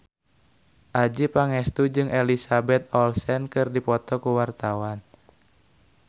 Adjie Pangestu jeung Elizabeth Olsen keur dipoto ku wartawan